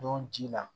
Don ji la